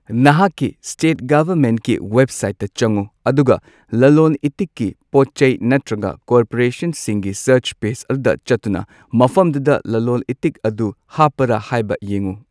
ꯅꯍꯥꯛꯀꯤ ꯁ꯭ꯇꯦꯠ ꯒꯚꯔꯃꯦꯟꯠꯀꯤ ꯋꯦꯕꯁꯥꯏꯠꯇ ꯆꯪꯎ ꯑꯗꯨꯒ ꯂꯂꯣꯟ ꯏꯇꯤꯛꯀꯤ ꯄꯣꯠꯆꯩ ꯅꯠꯇ꯭ꯔꯒ ꯀꯣꯔꯄꯣꯔꯦꯁꯟꯁꯤꯡꯒꯤ ꯁꯥꯔꯆ ꯄꯦꯖ ꯑꯗꯨꯗ ꯆꯠꯇꯨꯅ ꯃꯐꯝꯗꯨꯗ ꯂꯂꯣꯟ ꯏꯇꯤꯛ ꯑꯗꯨ ꯍꯥꯞꯄꯔ ꯍꯥꯏꯕ ꯌꯦꯡꯎ꯫